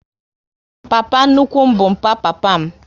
Papa nnukwu m bụ mpa papa m